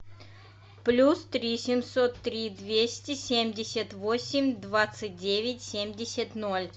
плюс три семьсот три двести семьдесят восемь двадцать девять семьдесят ноль